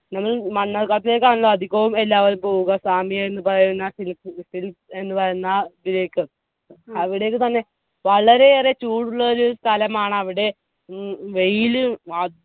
നമ്മൾ മണ്ണാർക്കാട്ടേക്കാണല്ലോ അധികവും എല്ലാവരും പോവുക സാമി എന്ന് പറയുന്ന ൽ എന്ന് പറയുന്ന ഇതിലേക്ക് അവിടേക്ക് തന്നെ വളരെയേറെ ചൂടുള്ള ഒരു സ്ഥലമാണ് അവിടെ മ്മ് വെയില്